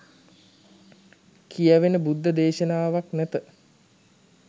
කියැවෙන බුද්ධ දේශනාවක් නැත